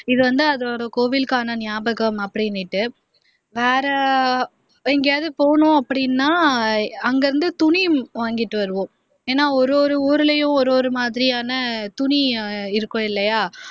இது வந்து அந்த கோவிலுக்கான நியாபகம் அப்படின்னுட்டு வேற எங்கேயாவது போனோம் அப்படின்னா அங்கேயிருந்து துணி வாங்கிட்டு வருவோம் ஏன்னா ஒரு ஒரு ஊர்லயும் ஒரு ஒரு மாதிரியான துணி இருக்கும் இல்லையா